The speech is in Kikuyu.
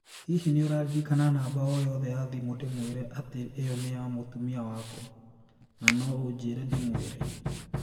Hihi nĩ ũraririkana namba ooyothe ya thimũ ndĩmwĩre atĩ ĩyo nĩ ya mũtumia wakwa, na no ũnjĩre ndĩmwĩre?